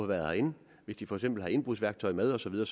været herind hvis de for eksempel har indbrudsværktøj med og så videre